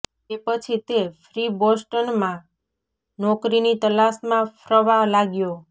તે પછી તે ફ્રી બોસ્ટનમાં નોકરીની તલાશમાં ફ્રવા લાગ્યો